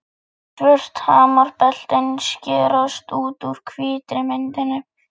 Svört hamrabeltin skerast út úr hvítri myndinni.